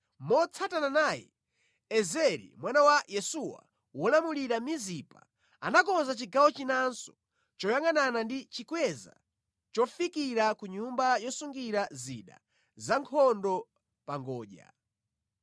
Motsatana naye Ezeri mwana wa Yesuwa, wolamulira Mizipa anakonza chigawo chinanso choyangʼanana ndi chikweza chofikira ku nyumba yosungira zida za nkhondo pa ngodya.